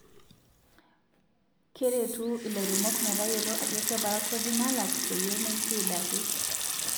Keretu ilairemok metayiolo ajo kebaa kodi nalaak peyie meitiid ake.